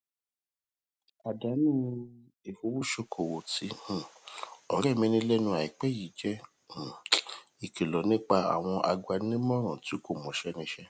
àdánù ifowosokowo tí um òré rè ní lénu àìpé yìí jé um ìkìlò nípa àwọn agbaninímòràn tí kò mọṣé níṣé